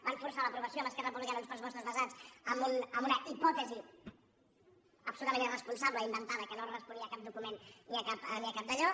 van forçar l’aprovació amb esquerra republicana d’uns pressupostos basats en una hipòtesi absolutament irresponsable i inventada que no responia a cap document ni a cap dallò